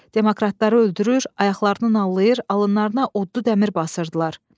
Demokratları öldürür, ayaqlarını allayır, alınlarına odlu dəmir basırdılar.